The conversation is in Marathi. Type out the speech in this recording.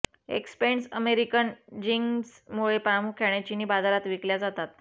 एक्सपेन्स्ड अमेरिकन जीन्स्ग मुळे प्रामुख्याने चीनी बाजारात विकल्या जातात